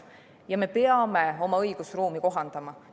Sellepärast me peame oma õigusruumi kohandama.